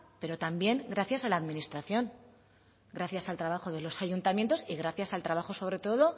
pero también gracias a la administración gracias al trabajo de los ayuntamientos y gracias al trabajo sobre todo